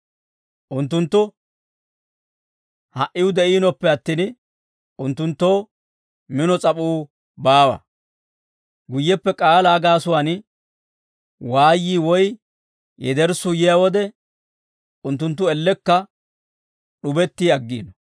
Unttunttu ha"iw de'iinoppe attin, unttunttoo mino s'ap'uu baawa; guyyeppe k'aalaa gaasuwaan waayyii woy yederssuu yiyaa wode, unttunttu ellekka d'ubetti aggiino.